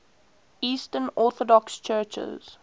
eastern orthodox churches